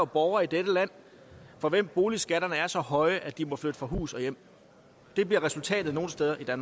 borgere i dette land for hvem boligskatterne er så høje at de må flytte fra hus og hjem det bliver resultatet nogle steder